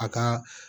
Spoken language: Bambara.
A ka